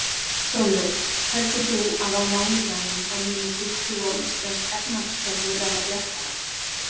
Sólveig: Heldur þú að á mánudaginn, þá muni tiltrú á íslenskt efnahagskerfi verða bjartara?